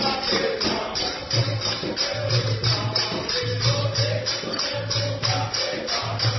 ୰୰ ଗୀତ ୰୰